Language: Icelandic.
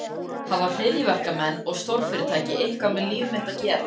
Hafa hryðjuverkamenn og stórfyrirtæki eitthvað með líf mitt að gera?